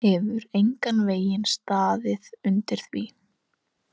Hefur engan veginn staðið undir því.